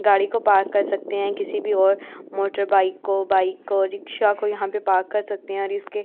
गाड़ी को पार्क कर सकते हैं किसी भी और मोटर बाइक को बाइक को रिक्शा को यहां पे पार्क कर सकते हैं और इसके --